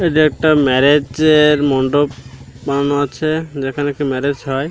এইটা একটা ম্যারেজ -এর মন্ডপ বানানো আছে যেখানে কি ম্যারেজ হয়।